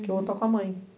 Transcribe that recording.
Que o outro está com a mãe.